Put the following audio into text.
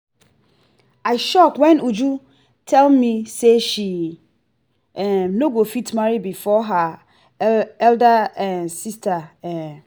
i shock wen uju tell me say she um no go fit marry before her elder um sister um